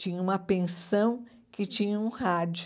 Tinha uma pensão que tinha um rádio.